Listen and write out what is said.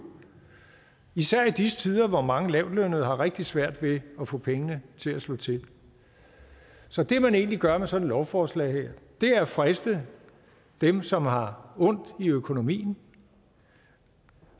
især i disse tider hvor mange lavtlønnede har rigtig svært ved at få pengene til at slå til så det man egentlig gør med sådan et lovforslag her er at friste dem som har ondt i økonomien